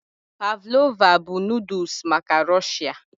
Pavlova bụ noodles maka Rọ̀shia